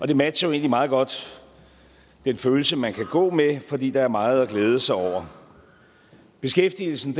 det matcher egentlig meget godt den følelse man kan gå med fordi der er meget at glæde sig over beskæftigelsen